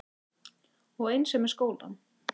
Og eins er með skólann.